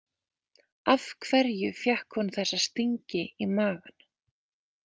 Af hverju fékk hún þessa stingi í magann?